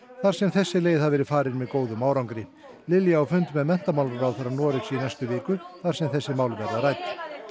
þar sem þessi leið hafi verið farin með góðum árangri Lilja á fund með menntamálaráðherra Noregs í næstu viku þar sem þessi mál verða rædd